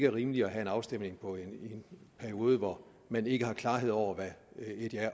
er rimeligt at have en afstemning i en periode hvor man ikke har klarhed over hvad et ja